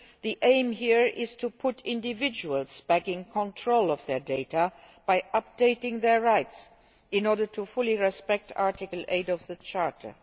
The aim here is to put individuals back in control of their data by updating their rights, in order to fully respect Article8 of the Charter.